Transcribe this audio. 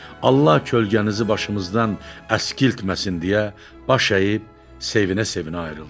Allah kölgənizi başımızdan əskiltməsin deyə baş əyib, sevinə-sevinə ayrıldı.